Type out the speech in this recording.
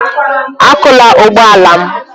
Akụla ụgbọ ala m!